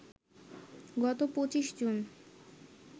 গত ২৫ জুন